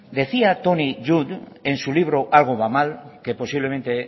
decía tony judt en su libro de algo va mal que posiblemente